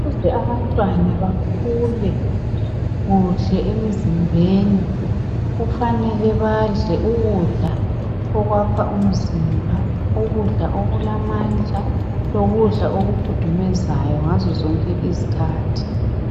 Ukuze abantwana bakhule kuhle emizimbeni, kufanele badle ukudla okwakha umzimba, ukudla okulamandla, lokudla okukhudumezayo ngazo zonke izikhathi.